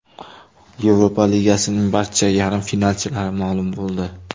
Yevropa Ligasining barcha yarim finalchilari ma’lum bo‘ldi.